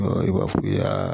i b'a f'u ye